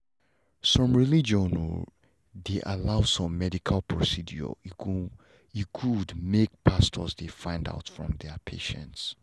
some religion o dey allow some medical procedure e go good make pastors dey find out from patients